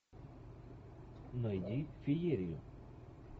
найди фиерию